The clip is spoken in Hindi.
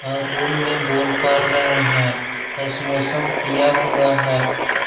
और रूम में बोल बर रहे हैं एस्मोसम किया हुआ है।